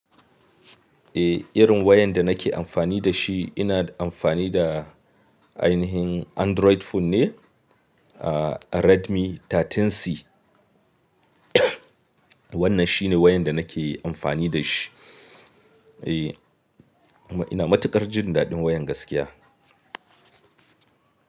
Eh, irin wayan da nake amfani da shi ina amfani da ainihin Android phone ne, ah Redmi 13C. Wannan shine wayan da nake amfani da shi. Eh, kuma ina matuƙar jin daɗin wayan gaskiya.